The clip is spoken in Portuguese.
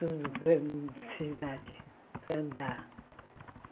Tudo para necessidade, para andar.